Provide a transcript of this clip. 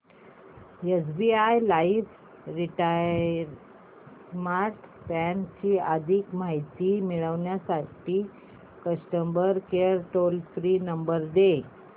SBI life retire smart plan ची अधिक माहिती मिळविण्यासाठी customer care toll free number दे